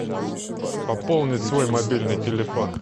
пополнить свой мобильный телефон